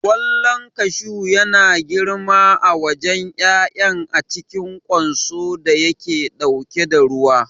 Ƙwallon kashu yana girma a wajen ƴaƴan a cikin ƙwanso da yake ɗauke da ruwa.